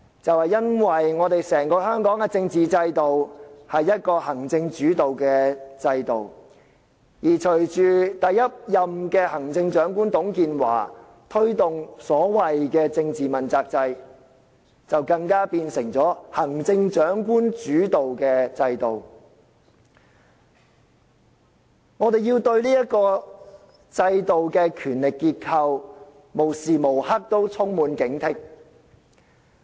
就是因為香港的政治制度是行政主導的制度，而隨着第一任行政長官董建華推動所謂政治問責制，就更變成了行政長官主導的制度。我們要對這制度的權力結構無時無刻都充滿警惕。